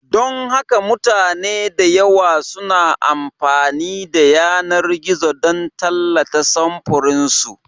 Don haka mutane da yawa suna amfani da yanar gizo don tallata samfuran su.